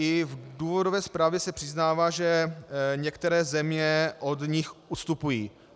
I v důvodové zprávě se přiznává, že některé země od nich ustupují.